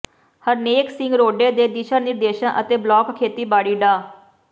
ਹਰਨੇਕ ਸਿੰਘ ਰੋਡੇ ਦੇ ਦਿਸ਼ਾ ਨਿਰਦੇਸ਼ਾਂ ਅਤੇ ਬਲਾਕ ਖੇਤੀਬਾੜੀ ਡਾ